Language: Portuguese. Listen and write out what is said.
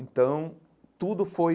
Então, tudo foi...